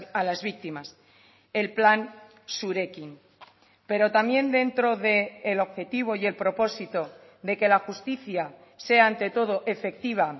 a las víctimas el plan zurekin pero también dentro del objetivo y el propósito de que la justicia sea ante todo efectiva